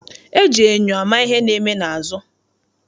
E ji enyo ama ihe na-eme n'azụ.